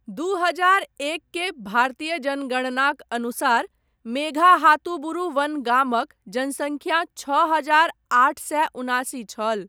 दू हजार एक केर भारतीय जनगणनाक अनुसार, मेघाहातुबुरु वन गामक जनसङ्ख्या छओ हजार आठ सए उनासी छल।